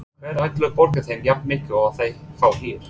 Hver ætlar að borga þeim jafnmikið og þeir fá hér?